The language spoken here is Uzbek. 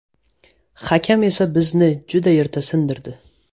Hakam esa bizni juda erta sindirdi.